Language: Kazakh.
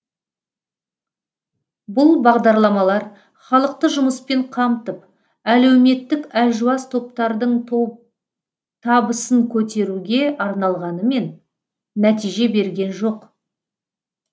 бұл бағдарламалар халықты жұмыспен қамтып әлеуметтік әлжуаз топтардың табысын көтеруге арналғанымен нәтиже берген жоқ